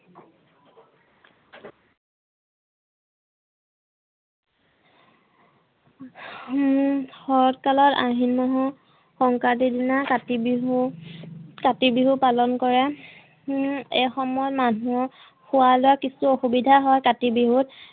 হম শৰত কালৰ আহিন মাহৰ সংক্ৰান্তিৰ দিনা কাতি বিহু কাতি বিহু পালন কৰে হম এই সময়ত মানুহৰ খোৱা লোৱা কিছু অসুবিধা হয় কাতি বিহুত